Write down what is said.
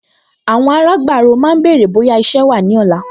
Àwọn alágbàro máa béèrè bóyá iṣẹ́ wà ní ọ̀la